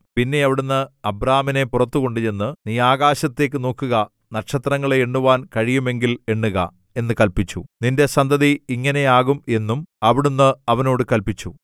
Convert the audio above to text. പിന്നെ അവിടുന്ന് അബ്രാമിനെ പുറത്തു കൊണ്ടുചെന്നു നീ ആകാശത്തേക്കു നോക്കുക നക്ഷത്രങ്ങളെ എണ്ണുവാൻ കഴിയുമെങ്കിൽ എണ്ണുക എന്ന് കല്പിച്ചു നിന്റെ സന്തതി ഇങ്ങനെ ആകും എന്നും അവിടുന്ന് അവനോട് കല്പിച്ചു